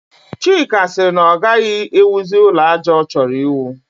Chika sịrị na ọ gaghị ewuzi ụlọ àjà ọ chọrọ iwu